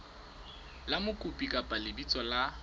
la mokopi kapa lebitso la